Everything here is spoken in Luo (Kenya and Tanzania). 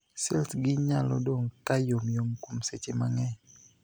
Sels gi nyalo dong' ka yomyom kuom seche mang'eny.